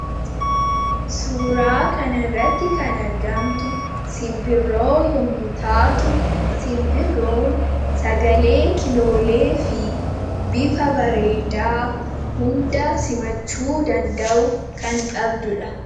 suuraa kan irratti kan argamtu sinbirroo yomutaatu sinbiroon sagalee kiloolee fi bifa bareedaa hunda simachuu danda'u kan qabdudha